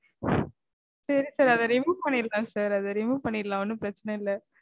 சரி sir. அத remove பண்ணிரலாம் sir. அத remove பண்ணிரலாம் ஒன்னும் பிரச்சினை இல்ல